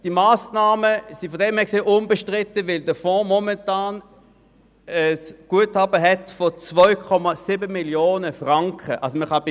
Diese Massnahmen sind unbestritten, weil der Fonds momentan ein Guthaben von 2,7 Mio. Franken aufweist.